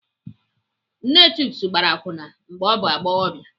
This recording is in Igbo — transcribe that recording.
Nne Chuks gbara akwụna mgbe ọ bụ agbọghọbịa.